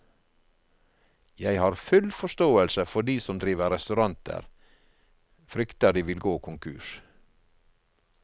Jeg har full forståelse for de som driver restauranter frykter de vil gå konkurs.